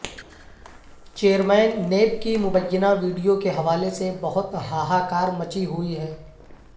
chairman NAB کی مبینہ video کے حوالے سے بہت ہاہا کار مچی ہوئی ہے